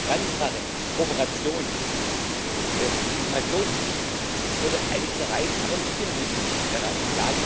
Transparenz, Kooperation, Informationspflichten es wurde einiges erreicht, aber nicht genügend erreicht.